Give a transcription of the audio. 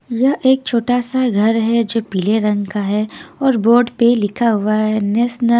यह एक छोटा सा घर है जो पीले रंग का है और बोर्ड पे लिखा हुआ है नेशनल --